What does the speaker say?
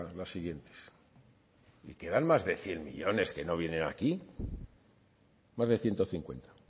las siguientes y quedan más de cien millónes que no vienen aquí más de ciento cincuenta